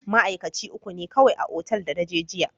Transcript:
Ma'aikaci uku ne kawai a otal da na je jiya.